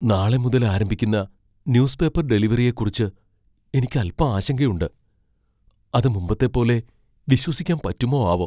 നാളെ മുതൽ ആരംഭിക്കുന്ന ന്യൂസ് പേപ്പർ ഡെലിവറിയെക്കുറിച്ച് എനിക്ക് അൽപ്പം ആശങ്കയുണ്ട്. അത് മുമ്പത്തെപ്പോലെ വിശ്വസിക്കാൻ പറ്റുമോ ആവോ ?